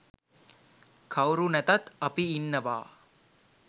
කවුරු නැතත් අපි ඉන්නවා.